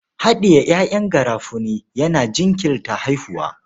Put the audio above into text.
Haɗiye ƴaƴan garafuni yana jinkirta haihuwa.